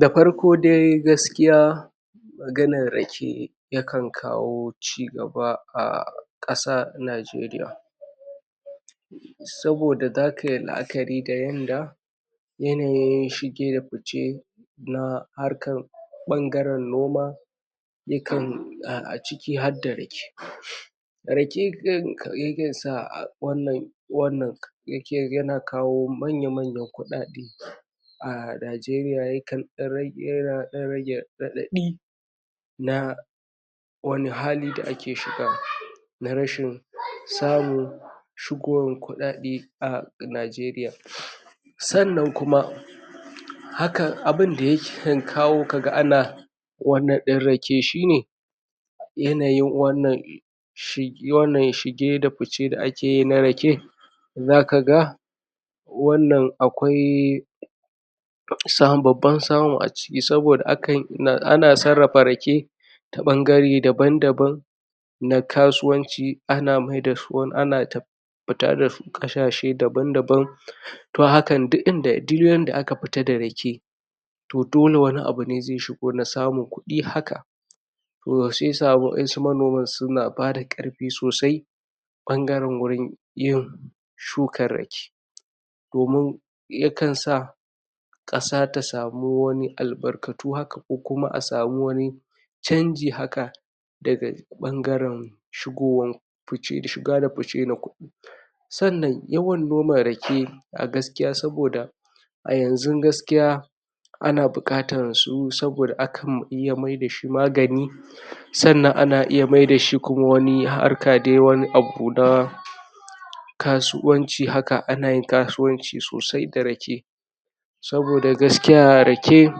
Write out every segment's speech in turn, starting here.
da farko dai gaskiya maganar rake yakan kawo cigaba a ƙasa najeriya saboda za kayi la'akari da wanda yanayin shige da fice na harkan ɓangaren noma dukan noma a ciki harda rake? wannan rake yana kawo manya manyan kuɗaɗe a najeriya yakan ɗan rage yan ɗan rage raɗaɗi na wani hali da ake shiga na rashin samu shigowan kuɗaɗe a najeriya sannan kuma hakan abunda yakan kawo kaga ana wannan ɗin rake shine yanayin wannan shi na wannan shige da fice da akeyi na rake za kaga wannan akwai wata samun babban samu a cikin akan yi ana sarrafa rake ta ɓangare daban daban na kasuwanci ana maida su ana ta fita dasu ƙasashe daban daban toh hakan duk inda duk yanda aka fita da rake to dole wani abune zai shigo na samun kuɗi haka yawwa siyasa wa'insu manoman suna bada ƙarfi sosai ɓangaren gurin yo shukar rake domin yakan sa ƙasa ta samu wani albarkatu haka ko kuma a samu wani canji haka daga ɓangaren shigowan shiga da fice da kuma sannan yawan noma rake a gaskiya saboda a yanzun gaskiya ana buƙatan su saboda akan iya maida shi magani sannan ana iya maida shi kuma wani harka dai wani abu na kasuwanci haka ana yin kaswanci sosai da rake saboda gaskiya rake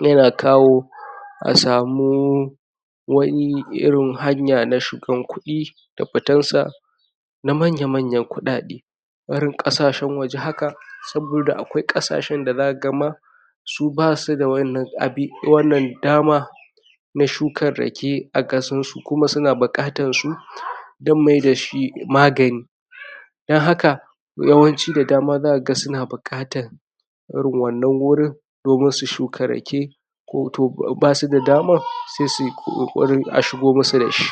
yana kawo a samu wani irin hanya na shigan kuɗi da fitan sa na manya manyan kuɗaɗe barin ƙasashen waje haka saboda akwai ƙasashen da zaka ga ma su basu da wannan abi wannan dama na shukan rake a ƙasan su kuma suna buƙatan su don mai da shi magani don haka yawanci da dama zaka ga suna buƙatan irin wannan wurin domin su shuka rake ko to basu da daman sai suyi ko ƙoƙarin a shigo masu da shi